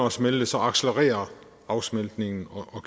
at smelte så accelererer afsmeltningen og